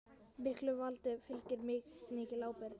Miklu valdi fylgir mikil ábyrgð.